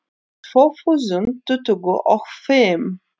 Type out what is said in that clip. Tvö þúsund tuttugu og fimm